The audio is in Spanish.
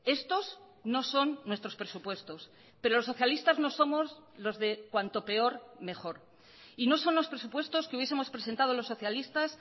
estos no son nuestros presupuestos pero los socialistas no somos los de cuanto peor mejor y no son los presupuestos que hubiesemos presentado los socialistas